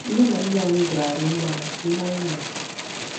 Nne na nna anyị jara anyị mma maka ihe anyị mere.